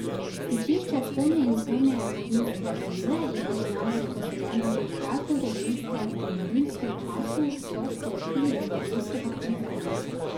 Stičišče Spodnje in Zgornje bohinjske doline je bilo namreč poseljeno že v prazgodovinskem in rimskem času, so sporočili iz Gorenjskega muzeja.